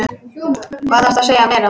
Hvað þarftu að segja meira?